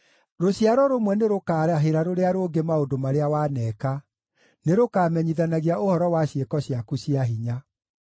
Rũciaro rũmwe nĩrũkarahĩra rũrĩa rũngĩ maũndũ marĩa waneka; nĩrũkamenyithanagia ũhoro wa ciĩko ciaku cia hinya.